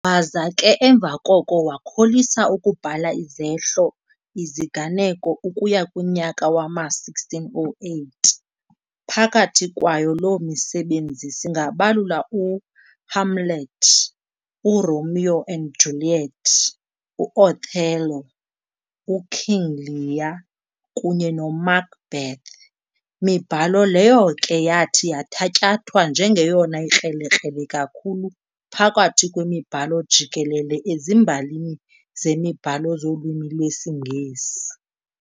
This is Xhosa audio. Waza ke emva koko wakholisa ukubhala izehlo - iziganeko ukuya kunyaka wama-1608, phakathi kwayo loo misebenzi singabalula u-"Hamlet", u-"Romeo and Juliet", u-"Othello", u-"King Lear", kunye no-"Macbeth", mibhalo leyo ke yathi yathatyathwa njengeyona ikrelekrele kakhulu phakathi kwemibhalo jikelele ezimbalini zemibhalo zolwimi lwesiNgesi.